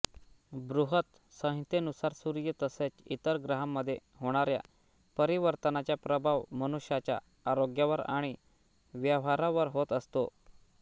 बृहत संहितेनुसार सूर्य तसेच इतर ग्रहांमध्ये होणाऱ्या परिवर्तनाचा प्रभाव मनुष्याच्या आरोग्यावर आणि व्यवहारांवर होत असतो